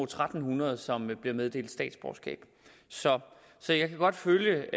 tre hundrede som blev meddelt statsborgerskab så så jeg kan godt følge